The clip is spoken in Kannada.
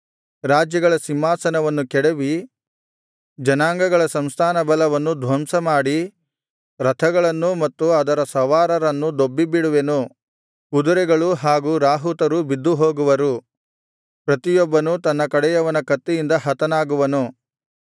ರಾಜ್ಯಗಳ ಸಿಂಹಾಸನವನ್ನು ಕೆಡವಿ ಜನಾಂಗಗಳ ಸಂಸ್ಥಾನ ಬಲವನ್ನು ಧ್ವಂಸಮಾಡಿ ರಥಗಳನ್ನೂ ಮತ್ತು ಅದರ ಸವಾರರನ್ನು ದೊಬ್ಬಿಬಿಡುವೆನು ಕುದುರೆಗಳೂ ಹಾಗೂ ರಾಹುತರೂ ಬಿದ್ದುಹೋಗುವರು ಪ್ರತಿಯೊಬ್ಬನೂ ತನ್ನ ಕಡೆಯವನ ಕತ್ತಿಯಿಂದ ಹತನಾಗುವನು